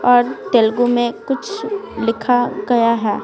और तेलुगु में कुछ लिखा गया है।